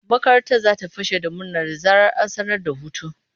Makarantar za ta fashe da murna da zarar an sanar da hutu.